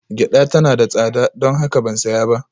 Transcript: Gyada tana da tsada, don haka ban saya ba